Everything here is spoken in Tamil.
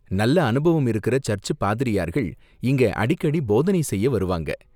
நல்ல அனுபவம் இருக்குற சர்ச்சு பாதிரியார்கள் இங்க அடிக்கடி போதனை செய்ய வருவாங்க.